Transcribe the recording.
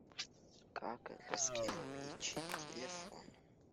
как раскирпичить телефон